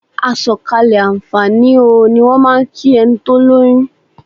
"Àsọ̀kalẹ̀ àǹfààní o" ni wọ́n máà ń kí ẹni tó lóyún.